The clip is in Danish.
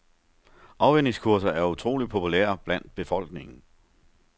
Afvænningskurser er utroligt populære blandt befolkningen.